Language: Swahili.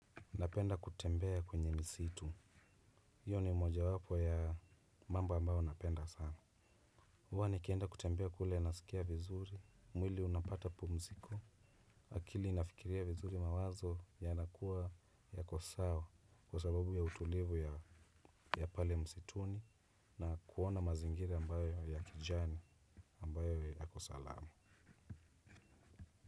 Napenda kutembea kwenye misitu. Hiyo ni mojawapo ya mambo ambayo napenda sana. Huwa nikienda kutembea kule nasikia vizuri. Mwili unapata pumziko. Akili inafikiria vizuri mawazo yanakuwa yako sawa kwa sababu ya utulivu ya pale msituni. Na kuona mazingira ambayo ya kijani ambayo yako salama.